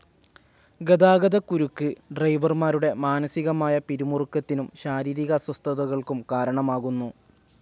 ഗതാഗതക്കുരുക്കു് ഡ്രൈവർമാരുടെ മാനസികമായ പിരിമുറുക്കത്തിനും ശാരീരിക അസ്വസ്ഥകൾക്കും കാരണമാകുന്നു.